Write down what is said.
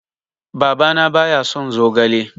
Baba na ba ya son zogale